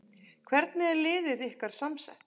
Hvernig er liðið ykkar samsett?